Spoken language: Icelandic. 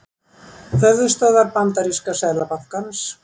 Höfuðstöðvar bandaríska seðlabankans.